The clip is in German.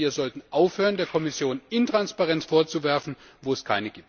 Wir sollten aufhören, der Kommission Intransparenz vorzuwerfen, wo es